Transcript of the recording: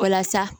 Walasa